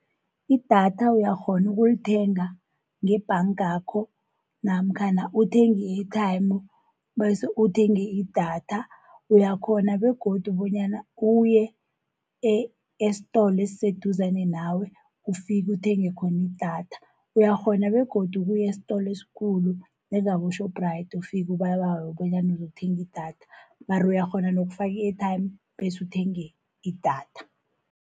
Idatha uyakghona ukulithenga ngebhangakho, namkhana uthenge i-airtime bese uthenge idatha. Uyakghona begodu bonyana uye esitolo esiseduzane nawe ufike uthenge khona idatha. Uyakghona begodu ukuya esitolo eskhulu njengabo-Shoprite, ufike ubabawe bonyana uzokuthenga idatha. Mara uyakghona nokufaka i-airtime bese uthenge idatha.